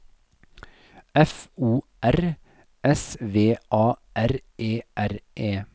F O R S V A R E R E